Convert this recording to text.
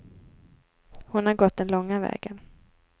Hon har gått den långa vägen.